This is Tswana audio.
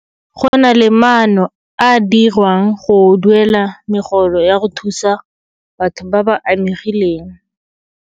Go na le maano a a dirwang go duela megolo ya go thusa batho ba ba amegileng.